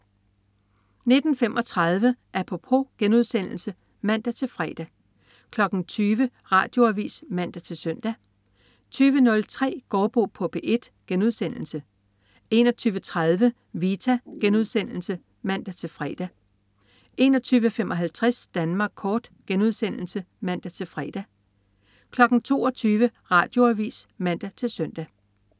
19.35 Apropos* (man-fre) 20.00 Radioavis (man-søn) 20.03 Gaardbo på P1* 21.30 Vita* (man-fre) 21.55 Danmark kort* (man-fre) 22.00 Radioavis (man-søn)